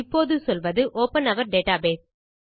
இப்போது சொல்வது open or database